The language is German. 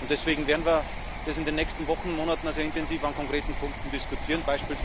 Und deswegen werden wir das in den nächsten Wochen und Monaten sehr intensiv an konkreten Punkten diskutieren.